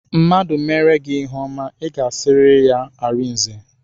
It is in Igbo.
Mmadụ meere gị ihe ọma, I ga-asịrịrị ya arinze